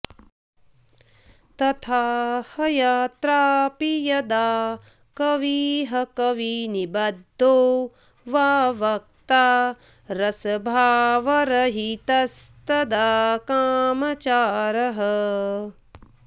तथा ह्यत्रापि यदा कविः कविनिबद्धो वा वक्ता रसभावरहितस्तदा कामचारः